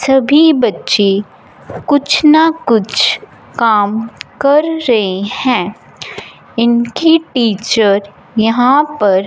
सभी बच्चे कुछ ना कुछ काम कर रहे हैं इनकी टीचर यहां पर--